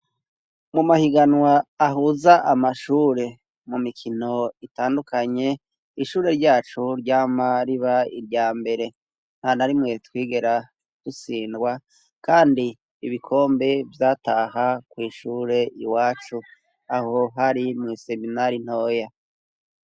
Mumahiganwa ahuza amashure mumikino itandukanye; ishure ryacu ryama riba iryambere ntanarimuye twigera dutsindwa kandi ibikombe vyataha kw'ishure iwacu. Aho hari mw'iseminari ntoya.